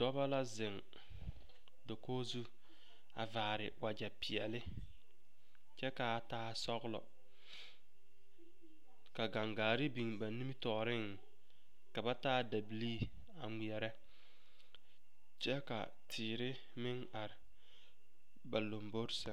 Dɔba la zeŋ dakogi zu a vaare wagyɛpeɛle kyɛ ka a taa sɔglɔ ka gaŋgaare biŋ ba nimitɔɔreŋ ka ba taa dabilii a ŋmeɛrɛ kyɛ ka teere meŋ are ba lombori sɛŋ.